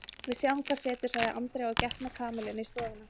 Við sjáum hvað setur sagði Andrea og gekk með Kamillu inn í stofuna.